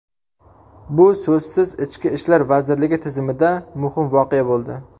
Bu so‘zsiz Ichki ishlar vazirligi tizimida muhim voqea bo‘ldi.